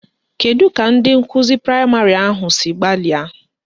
Kedu ka ndị nkụzi praịmarị ahụ si gbalịa?